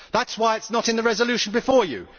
That is why it is not in the resolution before you.